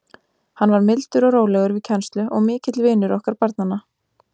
Hann var mildur og rólegur við kennslu og mikill vinur okkar barnanna.